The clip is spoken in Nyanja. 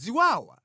Ziwawa